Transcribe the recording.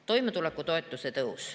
Toimetulekutoetuse tõus.